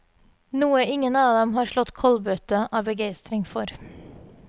Noe ingen av dem har slått kollbøtte av begeistring for.